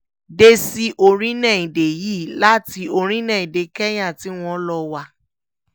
dé sí orílẹ̀‐èdè yìí láti orílẹ̀‐èdè kẹ́ńyà tí wọ́n lọ wá